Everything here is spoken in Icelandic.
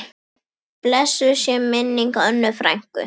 Blessuð sé minning Önnu frænku.